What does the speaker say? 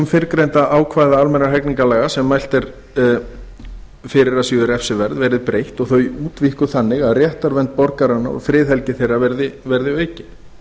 fyrrgreindra ákvæða almennra hegningarlaga sem mælt er fyrir að séu refsiverð verði breytt og þau útvíkkuð þannig að réttarvernd borgaranna og friðhelgi þeirra verði aukin